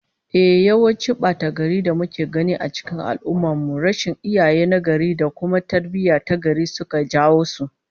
Ehh, yawancin bata-garin da muke gani cikin al'ummar mu, rashin iyaye nagari da kuma tarbiyyah tagari suka jawo su